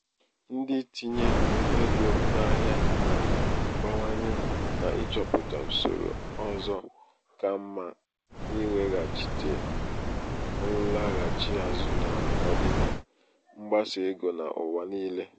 ndị ntinye ego n'ahịa na-abawanye n'ịchọpụta usoro ọzọ ka mma iweghachite nlaghachi azụ n'ọdịda um mgbasa ego n'ụwa niile.